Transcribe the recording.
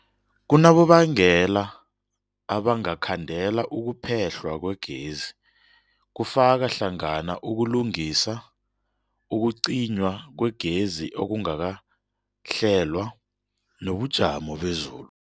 Kunabonobangela abangakhandela ukuphehlwa kwegezi, kufaka hlangana ukulungisa, ukucinywa kwegezi okungakahlelwa, nobujamo bezulu.